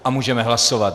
A můžeme hlasovat.